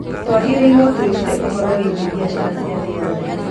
Twagĩrĩirũo twĩrute ũhoro wĩgiĩ biacara cia thĩ yothe.